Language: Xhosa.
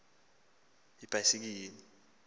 xa kuba ngafika